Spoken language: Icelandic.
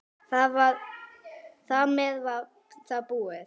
Þar með var það búið.